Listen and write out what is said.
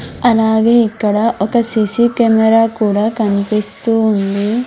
అలాగే ఇక్కడ ఒక సీసీ కెమెరా కూడా కన్పిస్తూ ఉంది.